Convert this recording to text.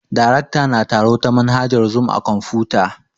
Darekta na taro ta manhajar zoom a kwamfuta